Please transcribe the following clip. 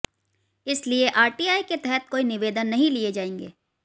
इसलिए आरटीआई के तहत कोई निवेदन नहीं लिए जाएंगे